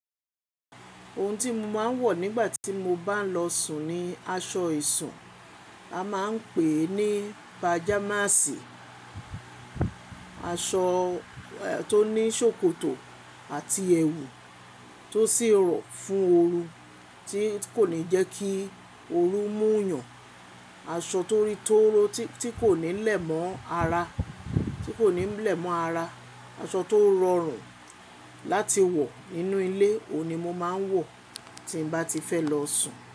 Ohun tí mo máa ń wọ̀ nígbà tí mo bá ń lọ sùn ni aṣọ ìsùn. A maa ń pè ní pajamasi. Aṣọ tó ní ṣòkòtò àti ẹwù tó sì rọ̀ fún ooru tí kò ní jẹ́ kí ooru mú yàn. Aṣọ tó rí tóró tí kò ní lẹ̀ mọ́ ara, tí kò ní lẹ̀ mọ́ ara. Aṣọ tó rọrùn láti wọ̀ nínú ilé, òun ni mo máa ń wọ̀ tí n bá ti fẹ́ lọ sùn.